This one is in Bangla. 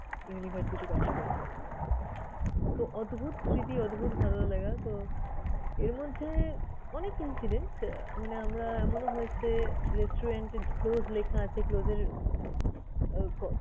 university pass করতে। তো, অদ্ভুত স্মৃতি, অদ্ভুত ভালো লাগা। তো, এর মধ্যে অনেক incident আহ মানে আমরা এমনও হয়েছে যে restaurant এ close লেখা আছে। Close এর